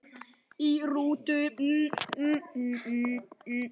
Í rútu